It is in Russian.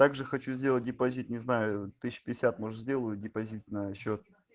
также хочу сделать депозит не зна может сделали депозитного счета